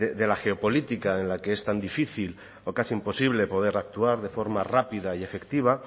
de la geopolítica en la que es tan difícil o casi imposible poder actuar de forma rápida y efectiva